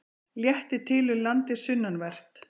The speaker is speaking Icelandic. Léttir til um landið sunnanvert